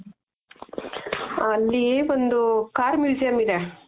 ಅಲ್ಲಿ ಒಂದು car museum ಇದೆ.